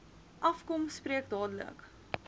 afkom spreek dadelik